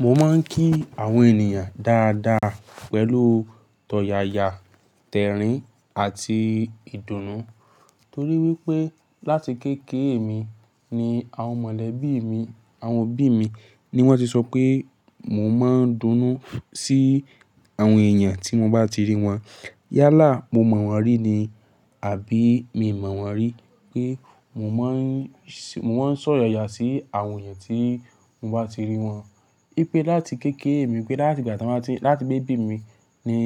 Mo máa ń kí àwọn ènìyàn dáadáa pẹ̀lú tọ̀yàyà, tẹ̀rín àti ìdùnnú. Torí wípé láti kéékèè mi ni àwọn mọ̀lẹ́bí mi, àwọn òbí mi ni wón ti sọ pé mo máa ń dúnú sí àwọn èèyàn tí mo bá ti rí wọn. Yálà mo mọ̀ wọ́n rí ni àbí mi ò mọ̀ wọ́n rí pé mo máa ń sọ̀yàyà sí àwọn èèyàn tí mo bá ti rí wọn. Í pé láti kéékèè mi, pé láti ìgbà tí wọ́n bá ti, láti baby mi ni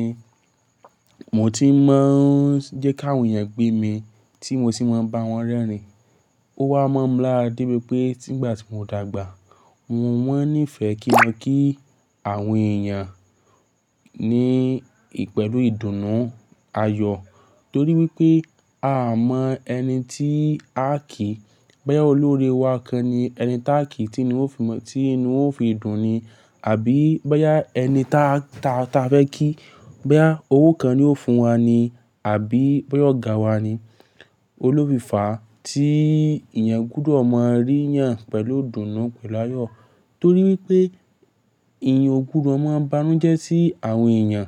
mo ti máa ń jẹ́ kí àwọn èèyàn gbé mí tí mo sì máa ń bá wọn rẹ́rìn-ín. Ó wá mọ̀ ọ́n láti dé pé pé tígbà tí mo dàgbà, mo má n nífẹ̀ẹ́ kí ọ kí àwọn èèyàn ní pẹ̀lú ìdùnnú ayọ̀. Torí wípé a mọ ẹni tí a kí, báyẹ́ olórí wa kan ni ẹni táà kí tí inú òfin ìdùnnú ni, àbí bóyá ẹni táa fẹ́ kí, bóyá owó kan ni ó fún wa ni, àbí bóyá ọ̀gá wa ni, olólùfẹ́ fá tí èèyàn gbúdọ̀ máa rí yàn pẹ̀lú ìdùnnú pẹ̀lú ayọ̀. Torí wípé èèyàn ò gbọdọ̀ máa banújẹ́ sí àwọn èèyàn.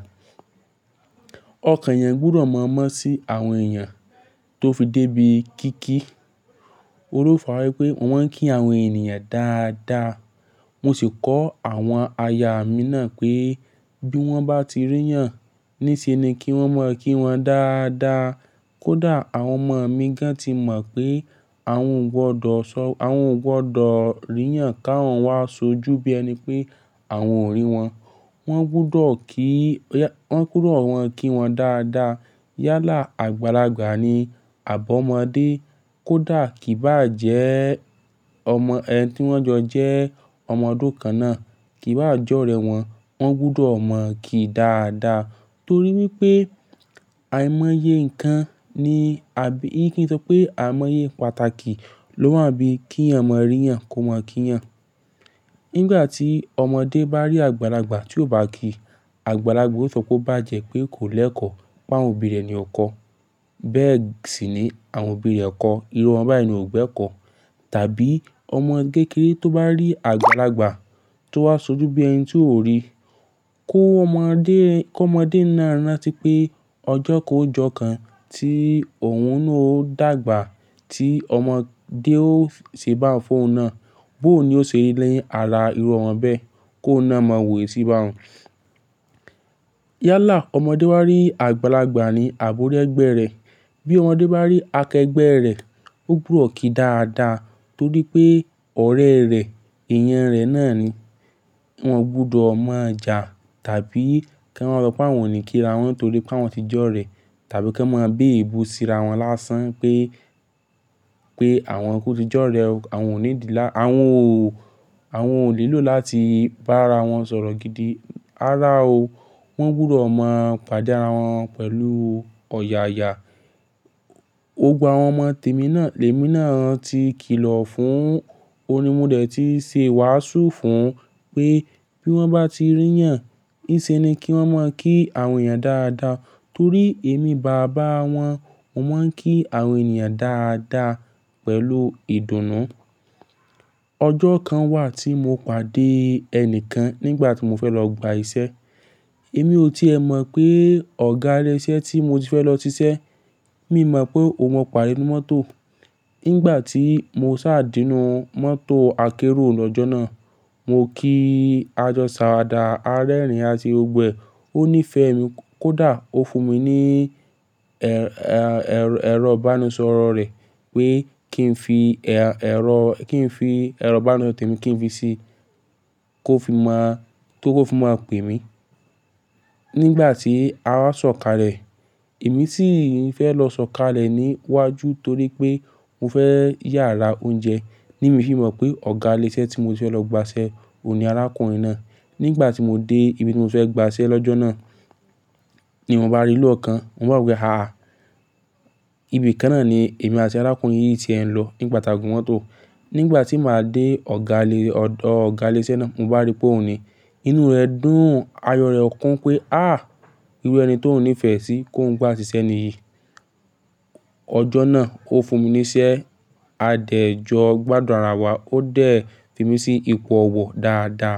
Ọkàn èèyàn gbúdọ̀ máa mọ́ sí àwọn èèyàn tó fi dé ibi kí kí. Òun ni ofa wípé má ń kí àwọn ènìyàn dáadáa. Mo sì kọ́ àwọn aya mi náà pé bí wọ́n bá ti rí yàn níṣe ni kí wọ́n máa kí wọn dáadáa. Kódà àwọn ọmọ mi gán ti mọ̀ pé àwọn ò gbọdọ̀ rí yàn kí àwọn wá ṣojú bí ẹni pé àwọn ò rí wọn. Wọn gbúdọ̀ kí, wọ́n gbúdọ̀ ma kí wọn dáadáa. Yálà àgbàlagbà ni, àbọ̀ ọmọdé, kó dà kí bá jẹ́ ọmọ ẹni tí wọ́n jọ jẹ́ ọmọ ọdún kan náà, kí bá jọ́rẹ́ wọn, wọ́n gbúdọ̀ mọ̀ kí dáadáa. Torí wípé àìmọye nǹkan ni, kí n sọ pé àìmọye pàtàkì ló wà bí kí èèyàn máa rí yàn kó máa kí yàn. Nígbà tí ọmọdé bá rí àgbàlagbà tí ó bá kí, àgbàlagbà yóò sọ pé ó bá jẹ́ pé kò lẹ́kọ̀ọ́ pé àwọn òbí rẹ̀ ni ó kọ. Bẹ́ẹ̀ sì ni àwọn òbí rẹ̀ kọ, irú omo báyìí ni ò gbẹ́ kọ. Tàbí ọmọ kékèré tó bá rí àgbàlagbà tó wá ṣojú bí ẹni tí óò rí, kó ọmọdé náà rántí pé ọjọ́ kan ó jọkàn tí òun náà ó dàgbà tí ọmọdé ó ṣe bá fún òun náà. Bó ni ó ṣe lerí ara irú wọn bẹ́ẹ̀ kó náà máa wò ó sí bá òun. Yálà ọmọdé bá rí àgbàlagbà ni àbí órí Ẹgbẹ́ rẹ̀. Bí ọmọdé bá rí akẹgbẹ́ rẹ̀, ó gbúdọ̀ kí dáadáa torí pé ọ̀rẹ́ rẹ̀, èèyàn rẹ̀ náà ni. Wọn gbúdọ̀ máa jà tàbí kí wọ́n sọ pé àwọn ò ní kí ara wọ́n torí pé wọ́n ti jọ́rẹ̀ tàbí kí wọ́n máa bú ebú síra wọn lásán pé àwọn kú tí jọ́rẹ̀, àwọn ò ní dì, àwọn ò ní lò láti bá ara wọn sọ̀rọ̀ gidi. Rárá o, wọ́n gbúdọ̀ máa pàdé ara wọn pẹ̀lú ọ̀yàyà. Gbogbo àwọn ọmọ tèmi náà, lèmi náà ti kìlọ̀ fún òun ni mo dẹ̀ ti ṣe wàásù fún òun pé bí wọ́n bá ti rí yàn, níṣe ni kí wọ́n máa kí àwọn èèyàn dáadáa. Torí èmi bàbá wọn, mo máa ń kí àwọn ènìyàn dáadáa pẹ̀lú ìdùnnú. Ọjọ́ kan wà tí mo pàdé ẹni kan nígbà tí mo fẹ́ lọ gba iṣẹ́. Èmi ò tí ì ẹ mọ̀ pé ọ̀gá ilẹ́ṣẹ́ tí mo ti fẹ́ lọ ṣiṣẹ́, mi mọ̀ pé òun máa pàdé nínú mọ́tò ó. Nígbà tí mo sá dénú mọ́tò akérò lọ́jọ́ náà, mo kí ajo se Àwàdà arẹ́rìn ase gbogbo ẹ̀, ó nífẹ̀ẹ́ mi. Kódà ó fún mi ní ẹ̀rọ ìbánisọ̀rọ̀ rẹ̀ pé kí n fi ẹ̀rọ ìbánisọ̀rọ̀ tèmi kí n fi sí i kó fi mọ̀ pé kó fi mo pè mí. Nígbà tí a wá sọ̀kalẹ̀, èmi sì ń fẹ́ lọ sọ̀kalẹ̀ níwájú torí pé mo fẹ́ yà rá oúnjẹ. Ni mifì mọ̀ pé ọ̀gá ilẹ́sẹ́ tí mo ti fẹ́ lọ gba iṣẹ́ òun ni arákùnrin náà. Nígbà tí mo dé ibi tí mo fẹ́ gba iṣẹ́ lọ́jọ́ náà ni mò bá rí ní ọ̀kan. Mo wá wo pé"àh! Ibi kan náà ni èmi àti arákùnrin yìí ti ń lọ nígbà tí a gun mọ́tò". Nígbà tí màá dé ọ̀dọ ọ̀gá ilésẹ́ náà, mò bá rí pé òun ni. Inú rẹ̀ dùn, ayọ̀ rẹ̀ kún pé "àh! Irú ẹni tí òun nífẹ̀ẹ́ sí kó ń gbá ṣíṣẹ́ nìyí". Ọjọ́ náà ó fún mi ní iṣẹ́ adẹ́jọ gbadun ara wa, ó dẹ̀ fi mí sí ipò ọwọ̀ dáadáa.